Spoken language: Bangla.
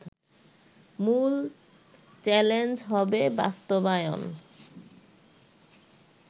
মুল চ্যালেঞ্জ হবে বাস্তবায়ন